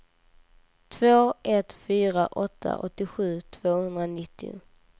två ett fyra åtta åttiosju tvåhundranittio